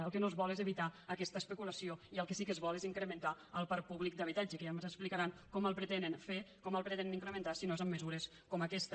el que es vol és evitar aquesta especulació i el que sí que es vol és incrementar el parc públic d’habitatge que ja ens explicaran com el pretenen fer com el pretenen incrementar si no és amb mesures com aquesta